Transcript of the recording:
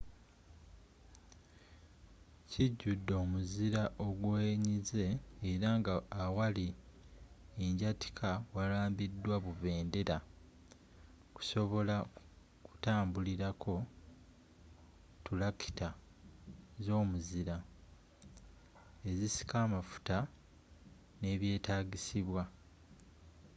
kijjudde omuzira ogwenyize era nga awali anjyatika warambiddwa bubendera kusobola kutambulrako ttulakita z'omuzira ezisika amafuta n'ebyetaagisibwa